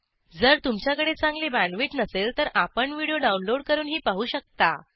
जर तुमच्याकडे चांगली बॅण्डविड्थ नसेल तर आपण व्हिडिओ डाउनलोड करूनही पाहू शकता